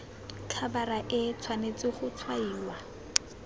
khabara e tshwanetse go tshwaiwa